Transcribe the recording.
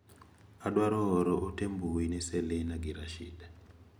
Adwaro oro ote mbui ne Selina gi Rashid.